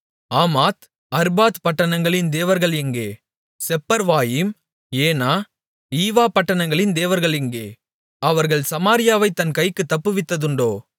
ஆமாத் Arpad பட்டணங்களின் தேவர்கள் எங்கே செப்பர்வாயிம் ஏனா ஈவா பட்டணங்களின் தேவர்கள் எங்கே அவர்கள் சமாரியாவை என் கைக்குத் தப்புவித்ததுண்டோ